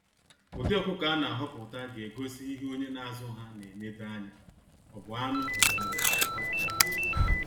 Ụdị ọkụkọ a na ahọpụta ga egosi ihe onye na azụ ha na enedo anya, ọ bu anụ maọbu akwa.